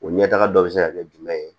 O ɲɛtaga dɔ bɛ se ka kɛ jumɛn ye